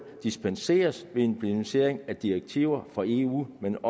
dispenseres ved implementering af direktiver fra eu men